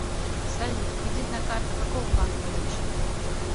салют кредитная карта какого банка лучше